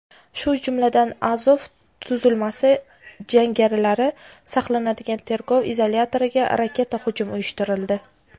shu jumladan "Azov" tuzilmasi jangarilari saqlanadigan tergov izolyatoriga raketa hujum uyushtirildi.